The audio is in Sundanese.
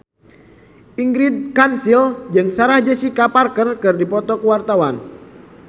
Ingrid Kansil jeung Sarah Jessica Parker keur dipoto ku wartawan